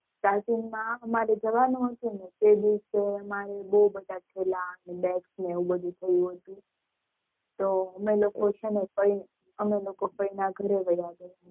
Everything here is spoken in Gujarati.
માં અમારે જવાનું હતું ને એ દિવસે અમારે બૌ બધું થેલા ને bags ને એવું થયું હતું